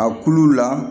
A kulu la